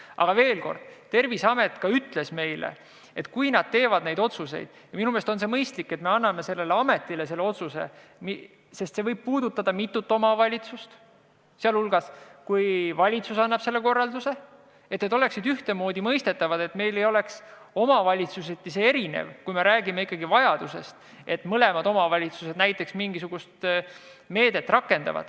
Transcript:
Aga veel kord, Terviseamet ütles meile, et kui nad neid otsuseid teevad – ja minu meelest on mõistlik, et anname sellise otsuse tegemise õiguse just Terviseametile, sest otsus võib puudutada mitut omavalitsust –, siis peaksid need olema ühtmoodi mõistetavad, mitte olema omavalitsuseti erinevad, kui räägime vajadusest, et mõlemad omavalitsused rakendaksid näiteks mingisugust meedet.